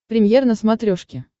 премьер на смотрешке